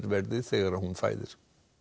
verði þegar hún fæðir